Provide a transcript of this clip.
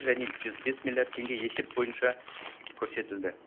және жүз бес миллиард теңге есеп бойынша көрсетілді